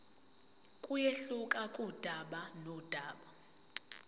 kuyehluka kudaba nodaba